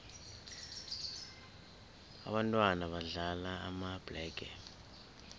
ababntwana badlala amabhlege